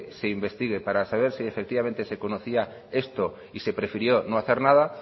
se investigue para saber si efectivamente se conocía esto y se prefirió no hacer nada